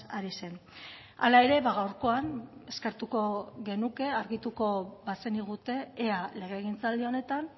ari zen hala ere gaurkoan eskertuko genuke argituko bazenigute ea legegintzaldi honetan